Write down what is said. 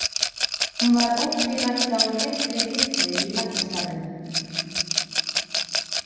Hún var ótvírætt á réttri hillu í læknisstarfinu.